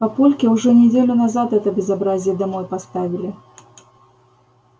папульке уже неделю назад это безобразие домой поставили